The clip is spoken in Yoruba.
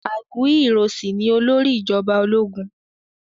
Aguiyi Ironsi ni olórí ìjọba ológun